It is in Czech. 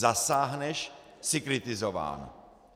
Zasáhneš - jsi kritizován.